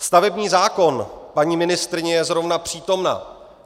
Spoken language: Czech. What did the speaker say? Stavební zákon - paní ministryně je zrovna přítomna.